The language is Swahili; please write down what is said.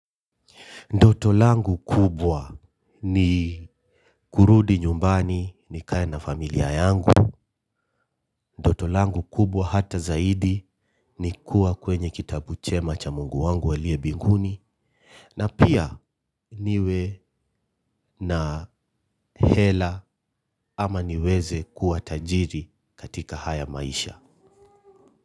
Ndoto langu kubwa ni kurudi nyumbani nikae na familia yangu. Ndoto langu kubwa hata zaidi ni kuwa kwenye kitabu chema cha Mungu wangu alie binguni. Na pia niwe na hela ama niweze kuwa tajiri katika haya maisha.